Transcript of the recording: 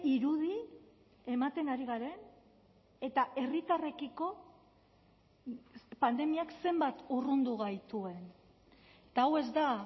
irudi ematen ari garen eta herritarrekiko pandemiak zenbat urrundu gaituen eta hau ez da